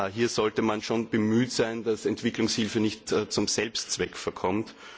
Hier sollte man bemüht sein, dass Entwicklungshilfe nicht zum Selbstzweck verkommt.